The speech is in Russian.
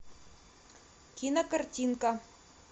кинокартинка